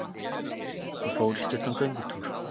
Ég fór í stuttan göngutúr.